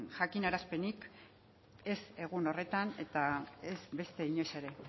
jakinarazpenik ez egun horretan eta ez beste inoiz ere